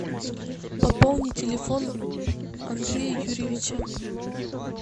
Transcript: пополни телефон андрея юрьевича